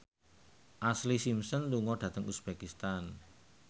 Ashlee Simpson lunga dhateng uzbekistan